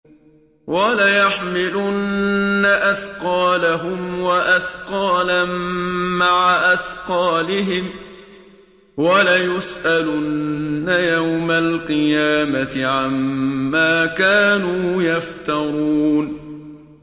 وَلَيَحْمِلُنَّ أَثْقَالَهُمْ وَأَثْقَالًا مَّعَ أَثْقَالِهِمْ ۖ وَلَيُسْأَلُنَّ يَوْمَ الْقِيَامَةِ عَمَّا كَانُوا يَفْتَرُونَ